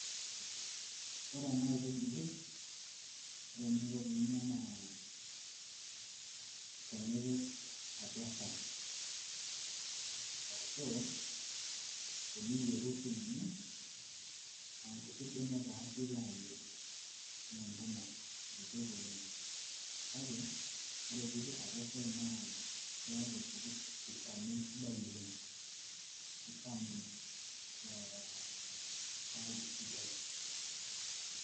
Ore ena aitubului, ore eninko pee inya naa atua shai ipik, Ashu teniyieru sii ninye aa nkuti benek taa naa ore pee ipik atua shai naa keeta olchamei sidai oleng, neeku kishamu shai esidai